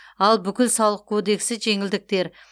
ал бүкіл салық кодексі жеңілдіктер